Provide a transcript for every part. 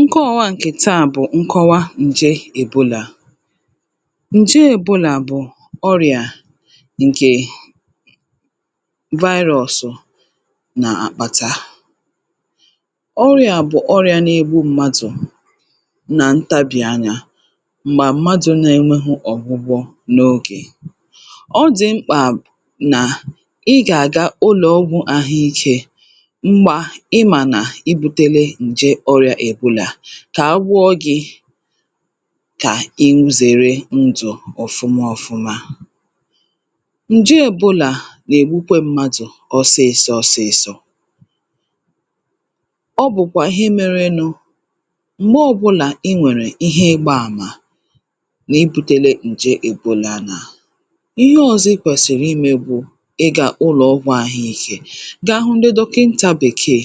nkọwa ǹkè taa bụ̀ nkọwa ǹje èbolà ǹje èbolà bụ̀ ọrịà ǹkè virus nà-àkpata ọrịà bụ̀ ọrịà n’egbu mmadụ̀ nà ntabì anyȧ m̀gbà mmadụ̇ n’enweghu ọ̀gwụgwọ n’ogè ọ dị̀ mkpà nà ị gà-àga ụlọ̀ ọgwụ̇ àhụikė kà agwụọ gị̇ kà ịmụ̇zère ndụ̀ ọ̀fụma ọfụma ǹje èbulà nà-ègbukwe mmadụ̀ ọsịsọ ọsịsọ̇ ọ bụ̀kwà ihe mere nụ̇ m̀gbè ọbụlà i nwèrè ihe ịgbȧ àmà nà i bùtėlė ǹje èbulà nà ihe ọzọ̇ ikwèsìrì imė bụ̇ ị gà ụlọ̀ ọgwụ̇ àhụ ikė gà ahụ ndị dọkịntà bèkeè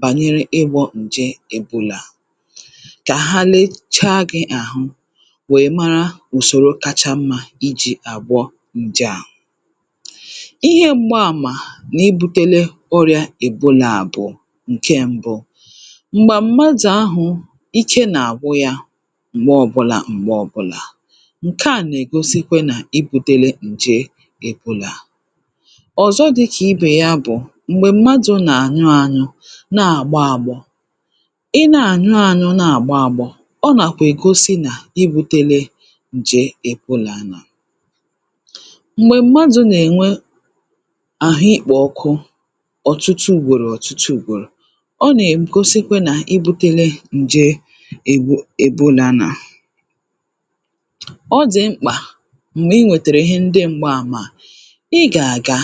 bànyere ịgbọ̇ ǹje èbulà kà ha lechaa gị̇ àhụ wèe mara ùsoro kacha mmȧ iji̇ àgwọ ǹje à ihe m̀gbà àmà n’ibutele ọrịȧ èbulà bụ̀ ǹke mbụ m̀gbè mmadụ̀ ahụ̀ ike nà-àgwụ ya m̀gbè ọbụlà m̀gbè ọbụlà ǹke à nà-ègosikwe nà ibùtele ǹje èbulà ọ̀zọ dị kà ibè ya bụ̀ na-àgba agbọ̇ i na-ànyụ ànyụ na-àgba agbọ̇ ọ nàkwà ègosi nà ibùtele ǹje èbulà nà m̀gbè mmadụ̀ nà-ènwe àhụ ikpọ̇ ọkụ ọ̀tụtụ ùgwòrò ọ̀tụtụ ùgwòrò ọ nà-èm̀ gosi nkwe nà ibùtele ǹje èbulà ọ dì mkpà m̀gbè i nwètèrè ihe ndị m̀gbà àmà i gà-àga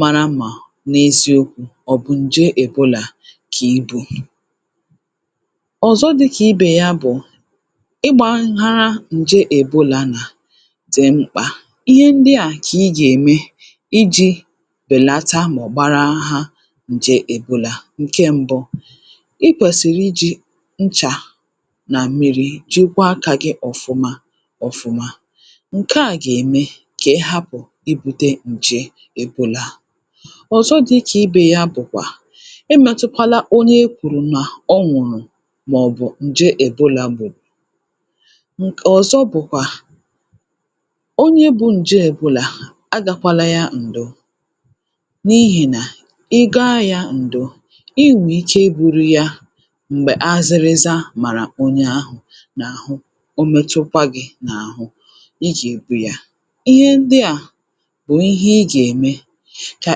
mara mà n’eziokwu̇ ọ̀ bụ̀ ǹje èbolà kà ibu̇ ọ̀zọ dị kà ibè ya bụ̀ ịgbȧnhara ǹje èbolà nà dị̀ mkpà ihe ndị à kà i gà-ème iji̇ bèlata mà ọ̀ gbara ha ǹje èbolà ǹke mbụ̇ i kwèsìrì iji̇ nchà nà mmi̇ri̇ jikwaa kà gị ọ̀fụma ọ̀fụma um ị bụrụ ya m̀gbè azịrịza màrà onye ahụ̀ n’àhụ o metụkwa gị̇ n’àhụ i jì èbu ya ihe ndị kà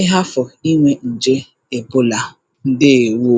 ị hafụ̀ inwė ǹje èbolà ǹdeèwo